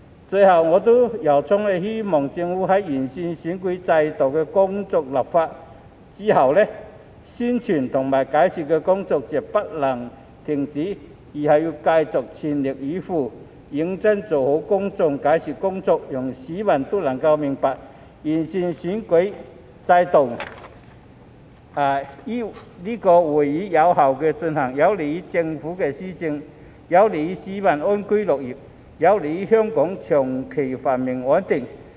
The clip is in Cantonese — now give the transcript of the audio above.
最後，我由衷希望政府在完成完善選舉制度的立法工作後，宣傳和解說的工作絕不能停止，要繼續全力以赴，認真做好公眾解說的工作，讓市民都能明白完善選舉制度將有利於議會有效運作、有利於政府施政、有利於市民安居樂業、有利於香港長期繁榮穩定。